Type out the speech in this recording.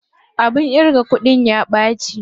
Abin ƙirga kuɗin ya ɓaci.